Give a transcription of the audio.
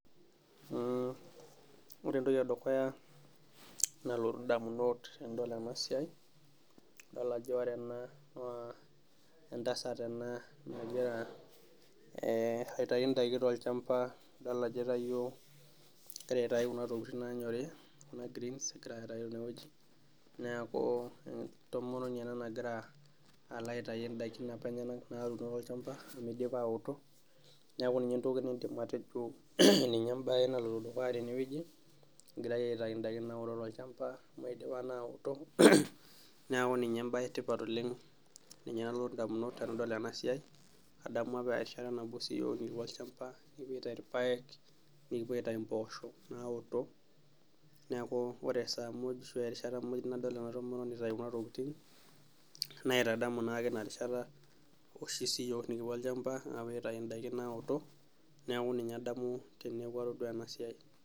Ore entoki edukuya nalotu damunot tenadol ena siai naa idol ajo ore ena naa entasat ena nagira aitayu daikin tolchampa, idol ajo itayio, egira aitayu Kuna tokitin naanyori greens egira aitayu tene wueji, neeku entomononi ena nagira Ako aitayu daikin apa enyenak natipika olchampa amu dipa anoto, neku ninye entoki, matejo ninye ebae naloito dukuya tene wueji, egirae aitayu daikin naoto tolchampa idipa naa anoto, neeku ninye ebae etipat oleng ninye nalotu damunot tenidol ena siai adamu apa erishata nabo siiyiook ekipuo olchampa, nikipuo aituyu irpaek nikipuo aitayu mpoosho, naoto neeku ore esaa muj ashu erishata muj nadol ena toki naitadamu naake Ina rishata oshi sii yiook nikipuo olchampa apuo aitayu, daikin naoto. Neeku ninye adamu teneeku atodua ena siai.